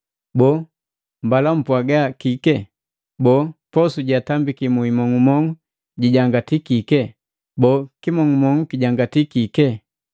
Boo, mbala kupwaga kike? Boo, posu jeatambaki muimong'umong'u jijangati kike? Boo, kimong'umong'u kijangatii kike?